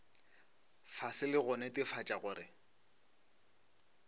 fase le go netefatša gore